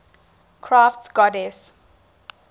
crafts goddesses